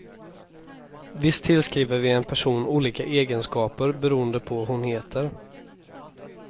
Visst tillskriver vi en person olika egenskaper beroende på hon heter.